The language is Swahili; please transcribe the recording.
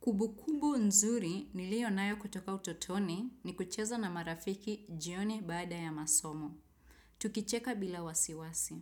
Kubukubu nzuri niliyonayo kutoka utotoni ni kucheza na marafiki jioni baada ya masomo. Tukicheka bila wasiwasi.